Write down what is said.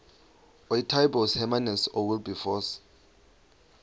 ootaaibos hermanus oowilberforce